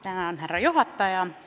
Tänan, härra juhataja!